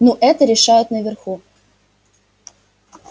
ну это решают наверху